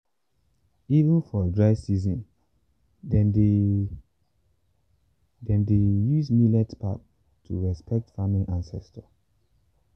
even for dry season dem still dey dem still dey use millet pap to respect farming ancestors.